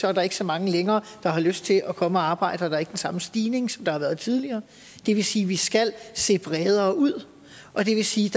er der ikke så mange længere der har lyst til at komme og arbejde her der er ikke den samme stigning som der har været tidligere og det vil sige at vi skal se bredere ud og det vil sige